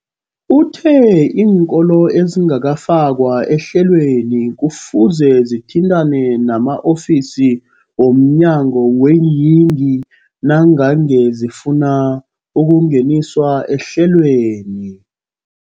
Uthe iinkolo ezingakafakwa ehlelweneli kufuze zithintane nama-ofisi womnyango weeyingi nangange zifuna ukungeniswa ehlelweni.